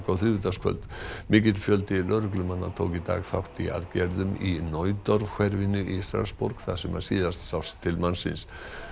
á þriðjudagskvöld mikill fjöldi lögreglumanna tók í dag þátt í aðgerðum í hverfinu í Strassborg þar sem síðast sást til mannsins